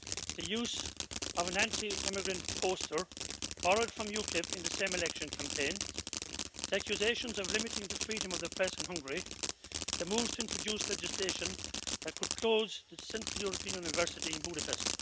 the use of an anti immigrant poster, borrowed from UKIP, in the same election campaign the accusations of limiting the freedom of the press in Hungary and the moves to introduce legislation that could close the Central European University in Budapest.